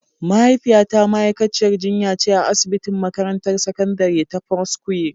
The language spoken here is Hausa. Mahaifiyata ma'aikaciyar jinya ce a asibitin makarantar sakandare ta foursquare.